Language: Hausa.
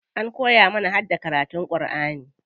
An koya mana harda karatun Alku'ani.